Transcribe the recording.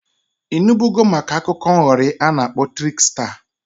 I nubugo maka akụkọ nghọrị a na-akpọ triksta?